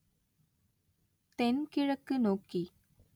தென்கிழக்கு நோக்கி